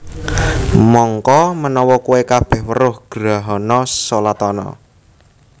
Mangka menawa kowe kabeh weruh grahana shalatana